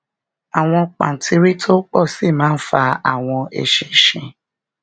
àwọn pàǹtírí tó pò sí máa fa àwọn eṣinṣin